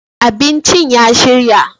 abincin ya shirya